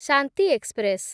Shanti express